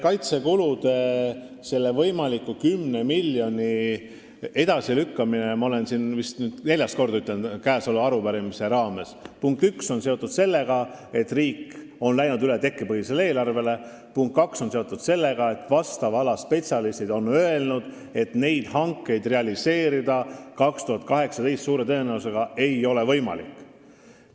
Kaitsekulude, selle võimaliku 10 miljoni edasilükkamine on – ütlen seda vist neljandat korda sama arupärimise raames –, punkt üks, seotud sellega, et riik on läinud üle tekkepõhisele eelarvele, ja punkt kaks, seotud sellega, et vastava ala spetsialistid on öelnud: neid hankeid realiseerida aastal 2018 ei ole suure tõenäosusega võimalik.